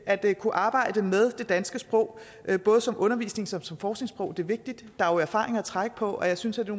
at kunne arbejde med det danske sprog både som undervisnings og forskningssprog er vigtig der er jo erfaringer at trække på og jeg synes at det